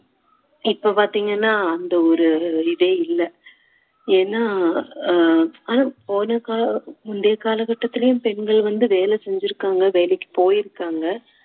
இப்போ பாத்தீங்கன்னா அந்த ஒரு இதே இல்ல ஏன்னா அஹ் போன கா~ முந்தைய காலகட்டத்துலேயும் பெண்கள் வந்து வேலை செஞ்சிருக்காங்க வேலைக்கு போயிருக்காங்க